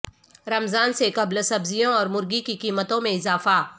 رمضان سے قبل سبزیوں اور مرغی کی قیمتوں میں اضافہ